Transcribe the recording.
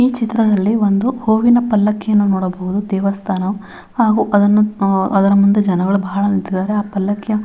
ಈ ಚಿತ್ರದಲ್ಲಿ ಒಂದು ಹೂವಿನ ಪಲ್ಲಕ್ಕಿಯನ್ನು ನೋಡಬಹುದು ದೇವಸ್ಥಾನ ಹಾಗು ಅದನು ಅದ್ರ ಮುಂದೆ ಜನಗಳು ಬಹಳ ನಿಂತಿದ್ದಾರೆ ಆ ಪಲ್ಲಕ್ಕಿಯ --